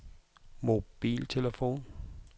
mobiltelefon